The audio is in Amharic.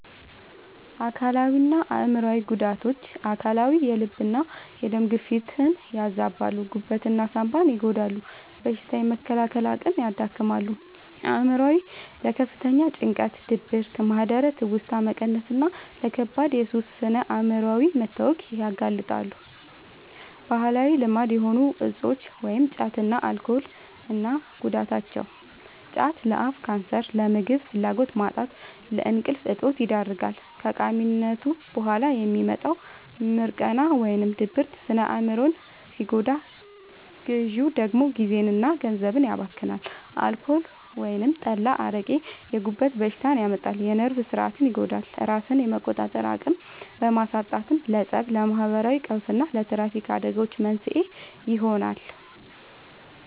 አካላዊና አእምሯዊ ጉዳቶች፦ አካላዊ፦ የልብና የደም ግፊትን ያዛባሉ፣ ጉበትና ሳንባን ይጎዳሉ፣ በሽታ የመከላከል አቅምን ያዳክማሉ። አእምሯዊ፦ ለከፍተኛ ጭንቀት፣ ድብርት፣ ማህደረ-ትውስታ መቀነስና ለከባድ የሱስ ስነ-አእምሯዊ መታወክ ያጋልጣሉ። ባህላዊ ልማድ የሆኑ እፆች (ጫትና አልኮል) እና ጉዳታቸው፦ ጫት፦ ለአፍ ካንሰር፣ ለምግብ ፍላጎት ማጣትና ለእንቅልፍ እጦት ይዳርጋል። ከቃሚነቱ በኋላ የሚመጣው «ሚርቃና» (ድብርት) ስነ-አእምሮን ሲጎዳ፣ ግዢው ደግሞ ጊዜና ገንዘብን ያባክናል። አልኮል (ጠላ፣ አረቄ)፦ የጉበት በሽታ ያመጣል፣ የነርቭ ሥርዓትን ይጎዳል፤ ራስን የመቆጣጠር አቅምን በማሳጣትም ለፀብ፣ ለማህበራዊ ቀውስና ለትራፊክ አደጋዎች መንስኤ ይሆናል።